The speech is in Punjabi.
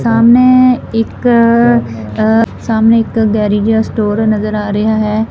ਸਾਹਮਣੇ ਇੱਕ ਆ ਸਾਹਮਣੇ ਇੱਕ ਗੈਰਜ ਯਾ ਸਟੋਰ ਨਜ਼ਰ ਆ ਰਿਹਾ ਹੈ।